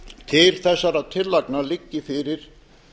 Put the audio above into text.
til þessara tillagna liggi fyrir